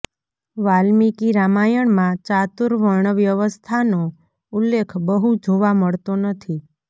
વાલ્મીકી રામાયણમાં ચાતુર્વર્ણવ્યવસ્થા નો ઉલ્લેખ બહુ જોવા મળતો નથી